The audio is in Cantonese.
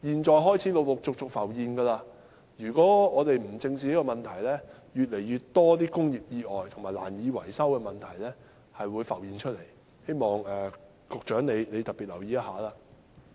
這問題已陸續浮現，如果我們不加以正視，便會出現越來越多工業意外及樓宇難以維修的情況，希望局長特別留意。